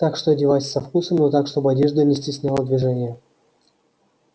так что одевайся со вкусом но так чтобы одежда не стесняла движения